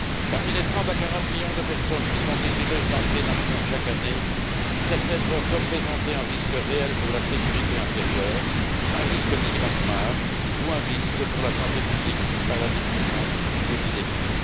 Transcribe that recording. Parmi les 30 à 40 millions de personnes qui sont désireuses d'entrer dans l'Union chaque année, certaines peuvent représenter un risque réel pour la sécurité intérieure, un risque migratoire ou un risque pour la santé publique par la diffusion d'épidémies.